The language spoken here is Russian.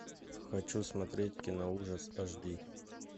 хочу смотреть киноужас аш ди